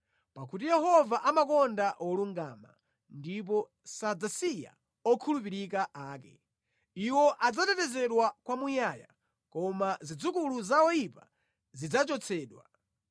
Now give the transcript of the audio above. Pakuti Yehova amakonda wolungama ndipo sadzasiya okhulupirika ake. Iwo adzatetezedwa kwamuyaya, koma zidzukulu za oyipa zidzachotsedwa;